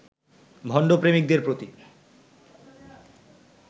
ভণ্ড প্রেমিকদের প্রতি